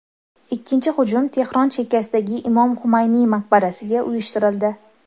Ikkinchi hujum Tehron chekkasidagi Imom Xumayniy maqbarasiga uyushtirildi.